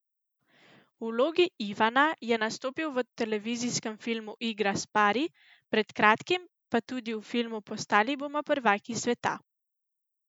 V vlogi Ivana je nastopil v televizijskem filmu Igra s pari, pred kratkim pa tudi v filmu Postali bomo prvaki sveta.